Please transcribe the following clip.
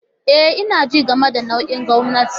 E, ina jin game da nau'in gwamnati.